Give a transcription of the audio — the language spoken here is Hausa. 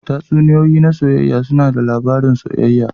Tatsuniyoyi na soyayya suna ba da labarin soyayya.